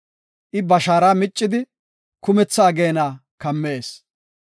I ba shaara miccidi, kumtha ageena kammees.